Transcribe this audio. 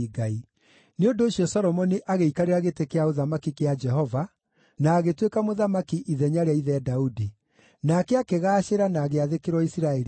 Nĩ ũndũ ũcio Solomoni agĩikarĩra gĩtĩ gĩa ũthamaki kĩa Jehova, na agĩtuĩka mũthamaki ithenya rĩa ithe Daudi. Nake akĩgaacĩra na agĩathĩkĩrwo Isiraeli guothe.